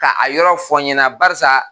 Ka a yɔrɔ fɔ n ɲɛna barisa